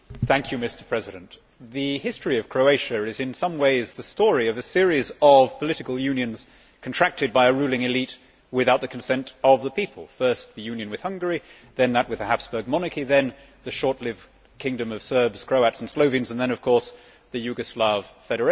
Mr President, the history of Croatia is in some ways the story of a series of political unions contracted by a ruling elite without the consent of the people first the union with Hungary, then that with the Habsburg monarchy, then the short lived Kingdom of Serbs, Croats and Slovenes, and then of course the Yugoslav Federation.